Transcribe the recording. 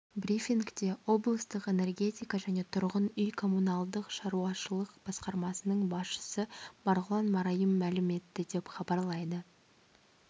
брифингте облыстық энергетика және тұрғын үй-коммуналдық шаруашылық басқармасының басшысы марғұлан марайым мәлім етті деп хабарлайды